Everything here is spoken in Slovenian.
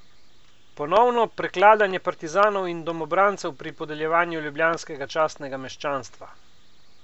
Ponovno prekladanje partizanov in domobrancev pri podeljevanju ljubljanskega častnega meščanstva?